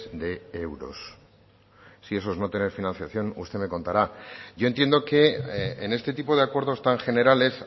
de euros si eso es no tener financiación usted me contará yo entiendo que en este tipo de acuerdos tan generales